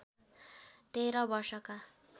१३ वर्षका